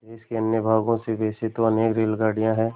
देश के अन्य भागों से वैसे तो अनेक रेलगाड़ियाँ हैं